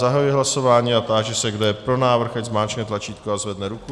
Zahajuji hlasování a táži se, kdo je pro návrh, ať zmáčkne tlačítko a zvedne ruku.